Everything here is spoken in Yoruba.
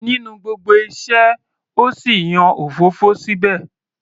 Nínú gbogbo iṣẹ́,o sì yan òfófó síbẹ̀?